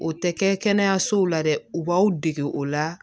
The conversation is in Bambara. O tɛ kɛ kɛnɛyasow la dɛ u b'aw dege o la